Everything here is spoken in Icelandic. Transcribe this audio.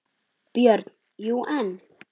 BJÖRN: Jú, en.